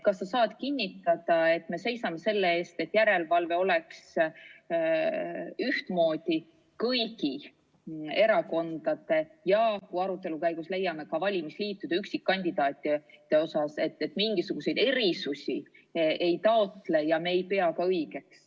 Kas sa saad kinnitada, et me seisame selle eest, et järelevalve oleks ühtemoodi kõigi erakondade üle ja kui arutelu käigus nii leiame, siis ka valimisliitude ja üksikkandidaatide üle, et mingisuguseid erisusi me ei taotle ega pea ka õigeks?